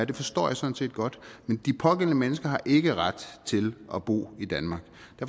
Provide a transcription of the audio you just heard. det forstår jeg sådan set godt men de pågældende mennesker har ikke ret til at bo i danmark